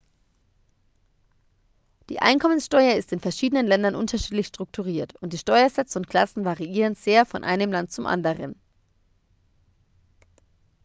die einkommenssteuer ist in verschiedenen ländern unterschiedlich strukturiert und die steuersätze und klassen variieren sehr von einem land zum anderen